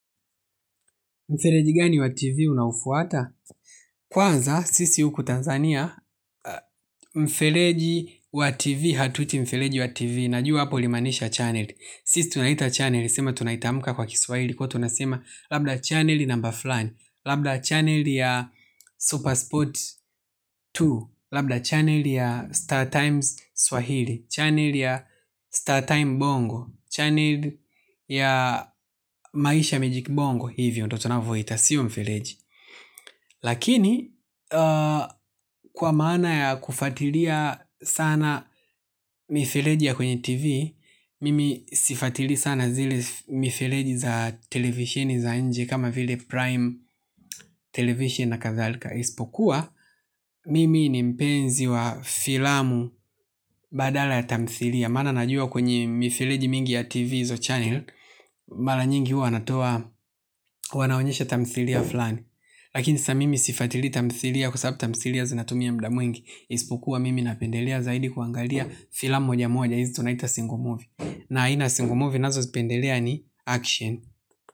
Mfereji gani wa TV unaofuata? Kwanza, sisi huku Tanzania, mfereji wa TV, hatuiti mfereji wa TV, najua hapo ulimaanisha channel. Sisi tunaita channel, sema tunaitamuka kwa kiswahili, kwa tunasema labda channel number fulani, labda channel ya Supersport mbili, labda channel ya Star Times Swahili, channel ya Star Time Bongo, channel ya Maisha Mejik Bongo, hivyo, ndio tunavyoita, sio mfereji. Lakini, kwa maana ya kufuatilia sana mifireji ya kwenye TV, mimi sifuatili sana zile mifereji za televisioni za nje kama vile Prime Television na kadhalika. Isipokuwa, mimi ni mpenzi wa filamu badala ya tamthilia. Maana najua kwenye mifireji mingi ya TV hizo channel, mara nyingi wanatoa, wanaonyesha tamthilia fulani. Lakini siamimi sifuatili tamthilia kwa sababu tamthilia zinatumia muda mwingi. Isipokuwa mimi napendelea zaidi kuangalia filamu moja moja hizi tunaita single movie na aina single movie ninazozipendelea ni action.